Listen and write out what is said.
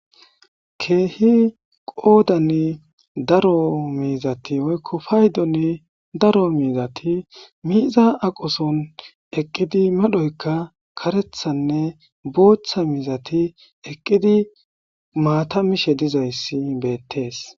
keehi qoodani daro miizati oykko paydonni daro miizati miiza aqoson eqqidi madhoyka karethanne booththa mizati eqqidi maata mishe dizayssi beettees